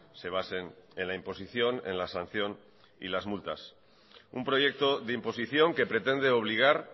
se basen en la imposición en la sanción y las multas un proyecto de imposición que pretende obligar